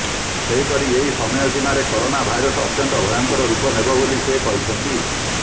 ସେହିପରି ଏହି ସମୟସୀମାରେ କରୋନା ଭାଇରସ ଅତ୍ୟନ୍ତ ଭୟଙ୍କର ରୂପ ନେବ ବୋଲି ସେ କହିଛନ୍ତି